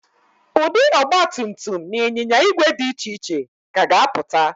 Ụdị ọgbatumtum na ịnyinya ígwè dị iche iche ka ga-apụta